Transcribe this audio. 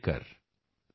दृढ़ निश्चय के साथ चलकर